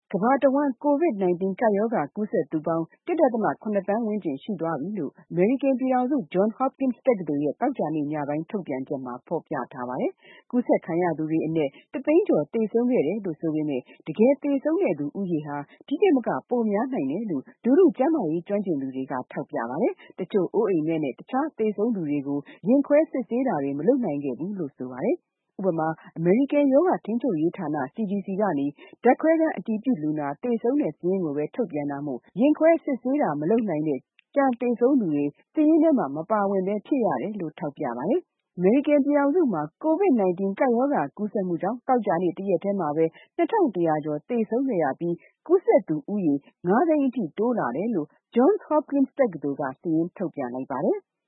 ကမ္ဘာတဝန်း COVID-19 ကပ်ရောဂါ ကူးစက်သူပေါင်း ၁.၇ သန်းဝန်းကျင် ရှိသွားပြီလို့ အမေရိကန်ပြည်ထောင်စု Johns Hopkins တက္ကသိုလ်ရဲ့ သောကြာနေ့ညပိုင်း ထုတ်ပြန်ချက်မှာ ဖော်ပြထားပါတယ်။ ကူးစက်ခံရသူတွေအနက် ၁ သိန်းကျော် သေဆုံးခဲ့တယ်လို့ ဆိုပေမယ့် တကယ်သေဆုံးတဲ့ ဦးရေဟာ ဒီထက်မက ပိုများနိုင်တယ်လို့ လူထုကျန်းမာရေး ကျွမ်းကျင်သူတွေက ထောက်ပြပါတယ်။ တချို့ အိုးအိမ်မဲ့နဲ့ တခြား သေဆုံးသူတွေကို ရင်ခွဲစစ်ဆေးတာတွေ မလုပ်နိုင်ခဲ့ဘူးလို့ ပြောပါတယ်။ ဥပမာ အမေရိကန် ရောဂါထိန်းချုပ်ရေးဌာနက ဓာတ်ခွဲခန်း အတည်ပြုလူနာ သေဆုံးစာရင်းကိုပဲ ထုတ်ပြန်တာမို့ ရင်ခွဲစစ်ဆေးတာ မလုပ်နိုင်တဲ့ ကျန်သေဆုံးသူတွေ စာရင်းထဲမှာ မပါဖြစ်ရတယ်လို့ ထောက်ပြပါတယ်။ အမေရိကန်ပြည်ထောင်စုမှာ COVID-19 ကူးစက်မှုကြောင့် သောကြာနေ့ တရက်တည်းမှာ ၂၁၀၀ ကျော် သေဆုံးခဲ့ရပြီး ကူးစက်သူဦးရေ ၅ သိန်းအထိ တိုးလာတယ်လို့ Johns Hokpins တက္ကသိုလ်က စာရင်းထုတ်ပြန်လိုက်ပါတယ်။